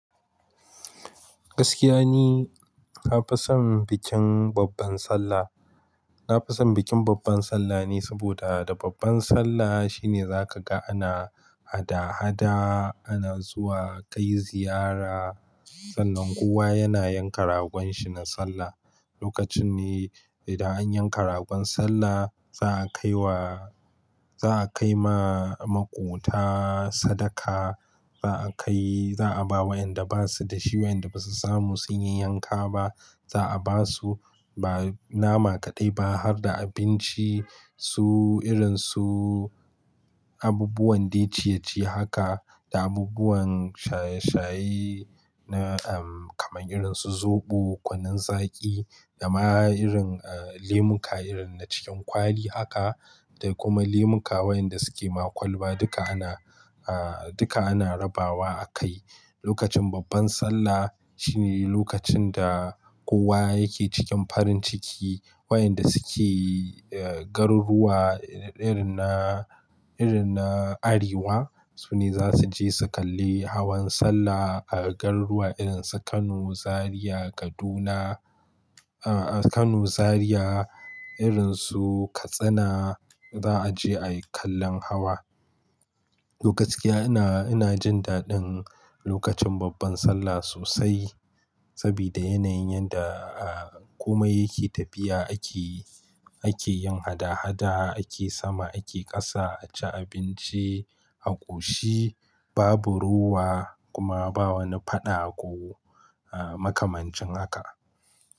Gaskiya ni, nafison bikin babban Sallah. Nafison bikin babban Sallah ne saboda da babban Sallah shine za kaga ana hada-hada, ana zuwa kai ziyara. Sannan kowa yana yanka ragon shi na Sallah. Lokacin ne idan an yanka ragon Sallah za a kai wa-- za a kaima makota sadaka, za a kai-- za a ba wa'yanda ba su da shi, wa'yanda ba su samu sun yi yanka ba za a basu ba nama kaɗai ba harda abinci su irin su abubuwan dai ciye-ciye haka da abubuwan shaye-shaye na, um, kamar irin su zoɓo, kunnun zaki da ma irin, eh, lemun ka irin na cikin kwali haka da kuma lemun ka wayanda suke ma kwalba duka ana, ah, duka ana rabawa a kai. Lokacin babban Sallah shine lokacin da kowa yake cikin farin ciki. Wayanda suke, eh, garuruwa irin na, irin na Arewa su ne za su je su kalli hawan Sallah a garuruwa irin su Kano, Zariya, Kaduna, ah, Kano, Zariya, irinsu Katsina za a je a yi kallon hawa. Lokaci yana, ina jin daɗin lokacin babban Sallah sosai sabida yanayin yanda, ah, komai yake tafiya ake, ake yin hada-hada, ake sama, ake ƙasa, a ci abinci a ƙoshi babu rowa kuma ba wani faɗa ko, ah, makamancin haka.